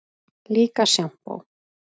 Líka sjampó.